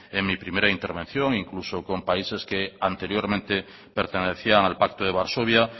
en mi primera intervención incluso con países que anteriormente pertenecían al pacto de varsovia